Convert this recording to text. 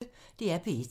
DR P1